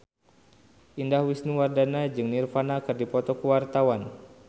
Indah Wisnuwardana jeung Nirvana keur dipoto ku wartawan